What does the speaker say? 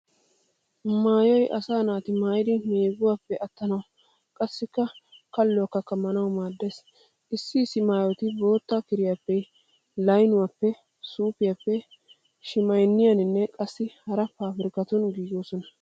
Maayoy asa na'i maayidi meeguwappe attanawu qassi kalluwaakka kammana maaddees. Issi issi maayoti bootta kiriyappe laynuwappe suufiyappe shimaynniyaaninne qassi hara paabirkkatuun giigoosona.